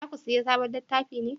Za ku saya sabon littafi ne?